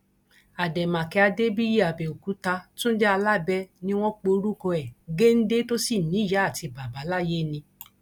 àdèmàkè adébíyìàbẹòkúta túnde alábẹ ni wọn pe orúkọ ẹ géńdé tó sì níyàá àti bàbá láyé ni